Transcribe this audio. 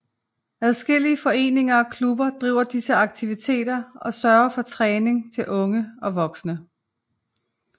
Adskillige foreninger og klubber driver disse aktiviteter og sørger for træning til unge og voksne